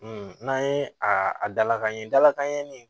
n'an ye a dalakan ɲɛ dalakanɲɛ nin